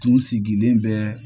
Tun sigilen bɛɛ